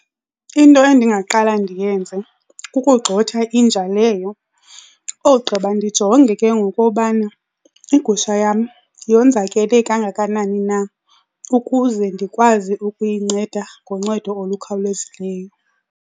Into endingaqala ndiyenze kukugxotha inja leyo ogqiba ndijonge ke ngoku obana igusha yam yonzakele kangakanani na ukuze ndikwazi ukuyinceda ngoncedo olukhawulezileyo.